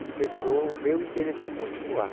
despertou o meu interesse em continuar.